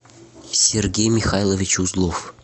сергей михайлович узлов